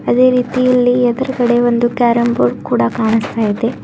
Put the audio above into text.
ಅದೇ ರೀತಿ ಇಲ್ಲಿ ಎದುರುಗಡೆ ಒಂದು ಕೇರಂ ಬೋರ್ಡ್ ಕೂಡ ಕಾಣಿಸ್ತಾ ಇದೆ.